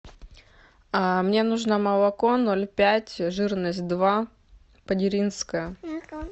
мне нужно молоко ноль пять жирность два падеринское